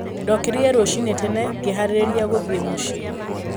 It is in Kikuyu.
Ndokĩrire rũcinĩ tene ngĩĩhaarĩria gũthiĩ mũciĩ.